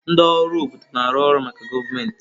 Ndị ọrụ obodo na-arụ ọrụ maka gọọmentị.